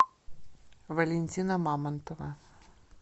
валентина мамонтова